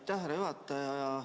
Aitäh, härra juhataja!